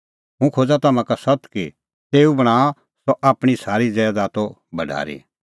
हुंह खोज़ा तम्हां का सत्त कि तेऊ बणांणअ सह आपणीं सारी ज़ैदातो भढारी